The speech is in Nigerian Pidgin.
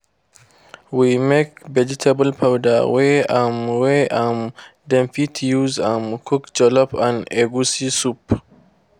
we make vegetable powder wey um wey um dem fit use um cook jollof and egusi soup.